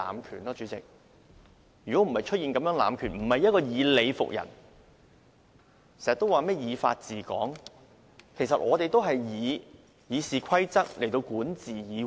原因便是出現濫權，不是以理服人，經常說甚麼以法治港，其實我們也是以《議事規則》來管治議會。